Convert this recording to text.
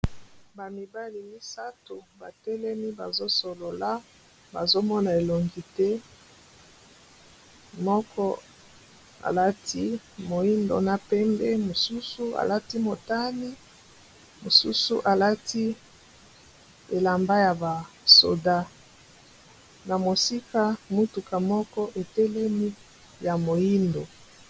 Ba mibale misato batelemi bazo solola bazo mona elongi te moko alati moyindo na pembe mosusu alati motani mosusu alati elamba ya ba soda na mosika motuka moko etelemi ya moyindo.